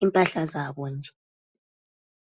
izigqoko zabo nje.